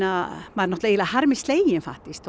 maður er harmi sleginn faktískt